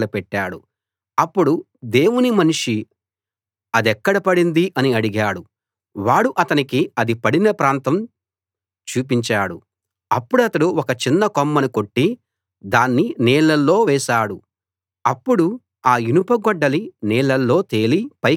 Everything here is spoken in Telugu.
అప్పుడు దేవుని మనిషి అదెక్కడ పడింది అని అడిగాడు వాడు అతనికి అది పడిన ప్రాంతం చూపించాడు అప్పుడతడు ఒక చిన్న కొమ్మని కొట్టి దాన్ని నీళ్ళలో వేశాడు అప్పుడు ఆ ఇనుప గొడ్డలి నీళ్ళలో తేలి పైకి వచ్చింది